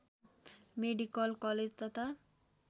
medical college तथा